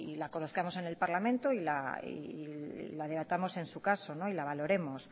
la conozcamos en el parlamento y la debatamos en su caso y la valoremos